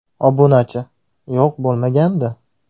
Obunachi: Yo‘q, bo‘lmagandi.